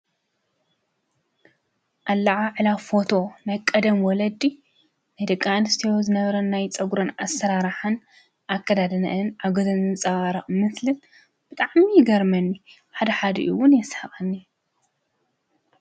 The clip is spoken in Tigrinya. ኣላዓዕላ ፎቶ ናይ ቀደም ወለዲ ደቂ ኣንስትዮ ዝነበረን ናይ ፀጉረን ኣሰራርሓን ኣከዳድነአን ኣብ ገፀን ዝንፀባረቕ ብጣዕሚ ይገርመኒ፡፡ ሓደሓዲ ውን የስሕቐኒ፡፡